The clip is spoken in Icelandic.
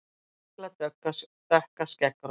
Mikla dökka skeggrót.